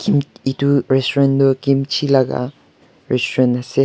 edu resturant tu kimchi laka restaurant ase.